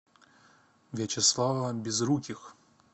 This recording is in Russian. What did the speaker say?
вячеслава безруких